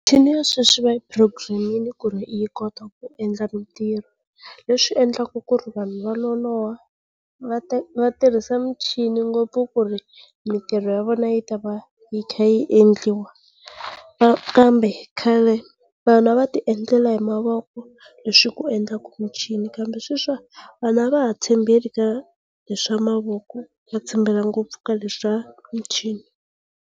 ya sweswi va yi programming ku va yi kota ku endla mitirho leswi endlaku ku ri vanhu va loloha, va ta va tirhisa michini ngopfu ku ri mitirho ya vona yi ta va yi kha yi endliwa. Ka kambe khale vanhu a va ti endlela hi mavoko leswi ku endlaka michini kambe sweswi wa vanhu a va ha tshembeli ka leswa mavoko va tshembele ngopfu ka leswa michini.